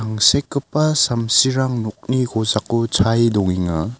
angsekgipa samsirang nokni kosako chae dongenga.